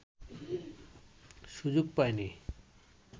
সুযোগ পায়নি